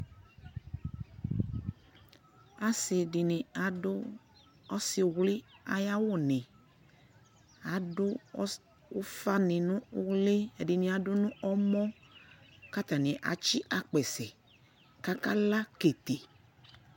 asii ya nʋ ɔbɛ ayinʋ, ɔsi awla dʋ gagba dili, ɔsii ɛdigbɔ di ya kʋ azɛ ɔsi nʋ gagba li